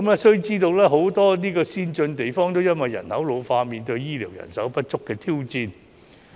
須知道很多先進地方也因為人口老化而面對醫療人手不足的挑戰。